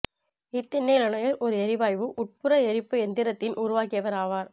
Etienne Lenoir ஒரு எரிவாயு உட்புற எரிப்பு எந்திரத்தின் உருவாக்கியவர் ஆவார்